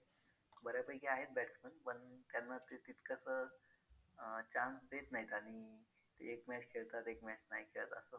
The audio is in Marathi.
बऱ्यापैकी आहेत batsman पण त्यांना ते तितकसं अं chance देत नाहीत आणि एक match खेळतात एक match नाही खेळत असं